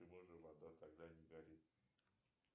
почему же вода тогда не горит